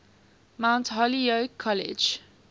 mount holyoke college